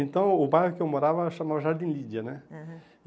Então, o bairro que eu morava era chamado Jardim Lídia, né? Aham